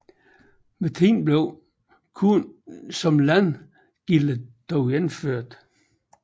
Med tiden blev korn som landgilde dog indført